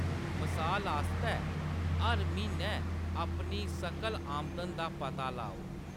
मसाल आस्तै, हर म्हीनै अपनी सकल आमदन दा पता लाओ।